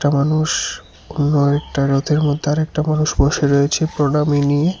মানুষ কোনও আরেকটা রথের মধ্যে আরেকটা মানুষ বসে রয়েছে প্রণামী নিয়ে।